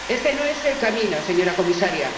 Este no es el camino, señora Comisaria.